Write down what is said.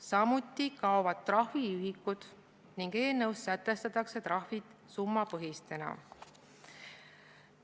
Samuti kaovad trahviühikud ning eelnõus sätestatakse trahvid summapõhiselt.